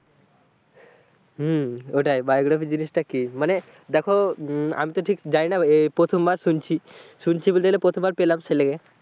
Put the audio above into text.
হম ওটাই biography জিনিসটা কি, মানে দেখো আমি তো ঠিক জানিনা এই প্রথমবার শুনছি, শুনছি বলতে গেলে প্রথমবার পেলাম